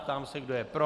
Ptám se, kdo je pro.